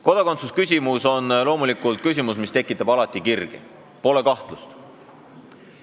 Kodakondsuse küsimus on loomulikult küsimus, mis tekitab alati kirgi – pole kahtlust.